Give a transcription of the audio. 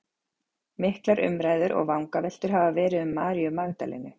Miklar umræður og vangaveltur hafa verið um Maríu Magdalenu.